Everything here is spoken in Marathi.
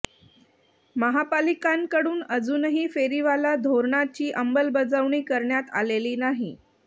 महापालिकांकडून अजूनही फेरीवाला धोरणांची अंमलबजावणी करण्यात आलेली नाही